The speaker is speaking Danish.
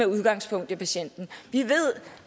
udgangspunkt i patienten vi ved